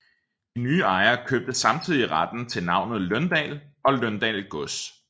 De nye ejere købte samtidig retten til navnet Løndal og Løndal Gods